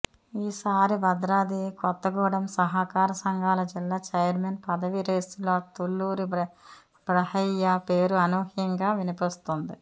ఈ సారి భద్రాద్రి కొత్తగూడెం సహకార సంఘాల జిల్లా చైర్మెన్ పదవి రేసులో తుళ్ళూరి బ్రహయ్య పేరు అనూహ్యంగా వినిపిస్తోంది